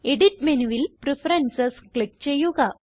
edit മെനുവിൽ preferences click ചെയ്യുക